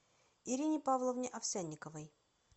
ирине павловне овсянниковой